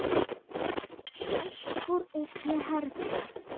Uppúr einni herför